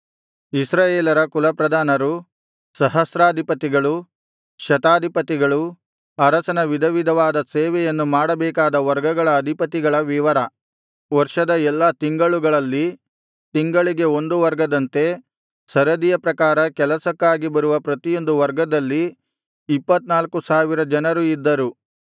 ಇಸ್ರಾಯೇಲರ ಕುಲಪ್ರಧಾನರು ಸಹಸ್ರಾಧಿಪತಿಗಳು ಶತಾಧಿಪತಿಗಳೂ ಅರಸನ ವಿಧವಿಧವಾದ ಸೇವೆಯನ್ನು ಮಾಡಬೇಕಾದ ವರ್ಗಗಳ ಅಧಿಪತಿಗಳ ವಿವರ ವರ್ಷದ ಎಲ್ಲಾ ತಿಂಗಳುಗಳಲ್ಲಿ ತಿಂಗಳಿಗೆ ಒಂದು ವರ್ಗದಂತೆ ಸರದಿಯ ಪ್ರಕಾರ ಕೆಲಸಕ್ಕಾಗಿ ಬರುವ ಪ್ರತಿಯೊಂದು ವರ್ಗದಲ್ಲಿ ಇಪ್ಪತ್ತನಾಲ್ಕು ಸಾವಿರ ಜನರು ಇದ್ದರು